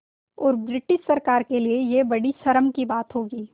और ब्रिटिश सरकार के लिये यह बड़ी शर्म की बात होगी